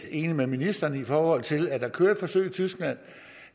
enig med ministeren i forhold til at der kører et forsøg i tyskland